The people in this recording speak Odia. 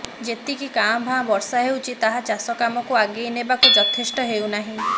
ଯେତିକି କାଭାଁ ବର୍ଷା ହେଉଛି ତାହା ଚାଷ କାମକୁ ଆଗେଇ ନେବାକୁ ଯଥେଷ୍ଟ ହେଉନାହିଁ